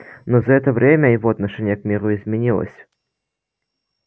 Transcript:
но за это время его отношение к миру изменилось